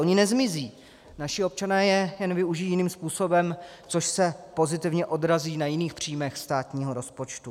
Ony nezmizí, naši občané je jen využijí jiným způsobem, což se pozitivně odrazí na jiných příjmech státního rozpočtu.